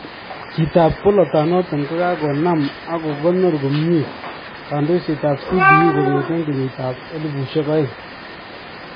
Chitab bolatonoton kokanam ako kokonor komyee kandoiset ab CDU kong'eten kenyit ab 2000